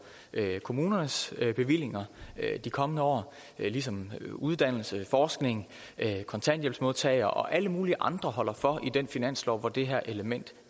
kommunernes bevillinger i de kommende år ligesom uddannelse forskning kontanthjælpsmodtagere og alle mulige andre holder for i den finanslov hvor det her element